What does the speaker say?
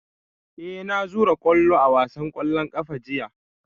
Eh na zura kwallo a wasan kwallon kafa jiya